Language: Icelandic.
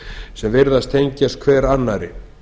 sem virðast tengjast hver annarri